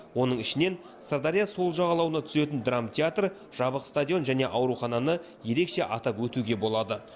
оның ішінен сырдария сол жағалауына түсетін драмтеатр жабық стадион және аурухананы ерекше атап өтуге болады